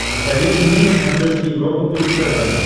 посоветуй мне на смотрешке европа плюс тв